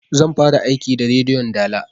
Zan fara aiki da rediyon dala